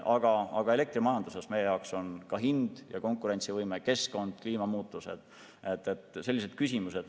Aga elektrimajanduses on meie jaoks ka hind ja konkurentsivõime, keskkond, kliimamuutused – sellised küsimused.